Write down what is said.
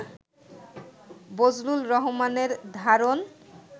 বজলুর রহমানের ধারণ